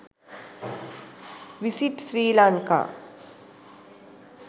visit sri lanka